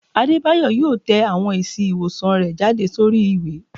Adebayo yọọ tẹ awọn èsí iwosán rẹ jade sorí iwe